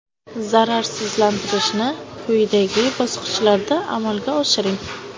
Zararsizlantirishni quyidagi bosqichlarda amalga oshiring.